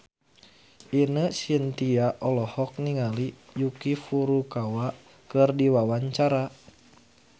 Ine Shintya olohok ningali Yuki Furukawa keur diwawancara